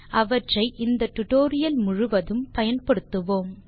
அவற்றை இந்த டியூட்டோரியல் முழுதும் பயன்படுத்துவோம்